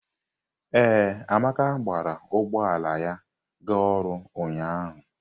Ee, Amaka gbara ụgbọ ala ya ga ọrụ ụnyahụ.